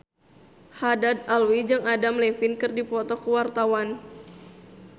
Haddad Alwi jeung Adam Levine keur dipoto ku wartawan